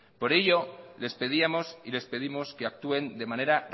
por ello les pedíamos y les pedimos que actúen de manera